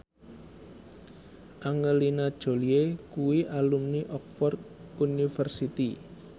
Angelina Jolie kuwi alumni Oxford university